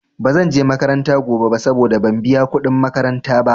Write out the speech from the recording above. Ba zanje makaranta gobe ba saboda ban biya kuɗin makaranta ba.